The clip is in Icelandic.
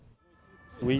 í